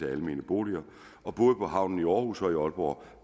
er almene boliger og både på havnen i aarhus og i aalborg